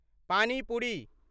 पानि पुरि